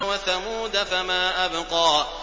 وَثَمُودَ فَمَا أَبْقَىٰ